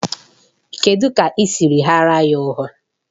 Kedụ ka i siri ghaara ya ụgha?